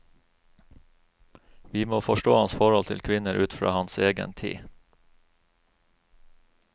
Vi må forstå hans forhold til kvinner ut fra hans egen tid.